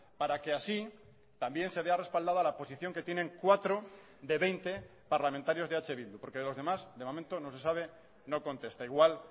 para que así también se vea respaldada la posición que tienen cuatro de veinte parlamentarios de eh bildu porque de los demás de momento no se sabe no contesta igual